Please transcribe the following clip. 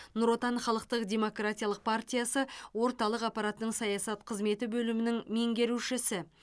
нұр отан халықтық демократиялық партиясы орталық аппаратының саясат қызметі бөлімінің меңгерушісі